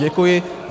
Děkuji.